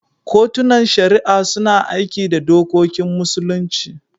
Kotunan Shari'a suna aiki da dokokin Musulunci.